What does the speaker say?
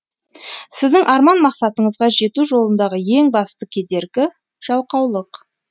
сіздің арман мақсатыңызға жету жолындағы ең басты кедергі жалқаулық